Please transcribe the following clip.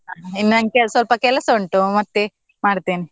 ಇನ್ನು ನಂಗೆ ಸ್ವಲ್ಪ ಕೆಲಸ ಉಂಟು ಮತ್ತೆ ಮಾಡ್ತೇನೆ.